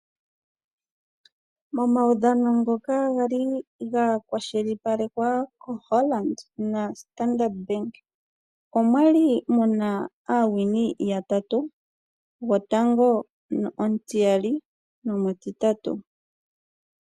Momaudhano ngoka ga li ga kwashilipalekwa koHolland naStandard Bank omwa li mu na aasindani yatatu, gotango, omutiyali nomutitatu.